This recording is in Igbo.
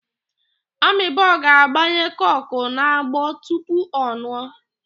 Amobi ga-agbanye koku n'agbo tupu ọ nụọ.